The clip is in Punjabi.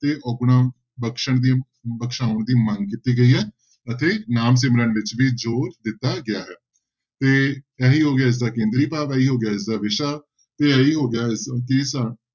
ਤੇ ਅੋਗੁਣਾਂ ਬਖ਼ਸਣ ਦੀ ਬਖ਼ਸਾਉਣ ਦੀ ਮੰਗ ਕੀਤੀ ਗਈ ਹੈ ਅਤੇ ਨਾਮ ਸਿਮਰਨ ਵਿੱਚ ਵੀ ਜ਼ੋਰ ਦਿੱਤਾ ਗਿਆ ਹੈ ਤੇ ਇਹੀ ਹੋ ਗਿਆ ਇਸਦਾ ਕੇਂਦਰੀ ਭਾਵ, ਇਹੀ ਹੋ ਗਿਆ ਇਸਦਾ ਵਿਸ਼ਾ ਤੇ ਇਹੀ ਹੋ ਗਿਆ ਇਸ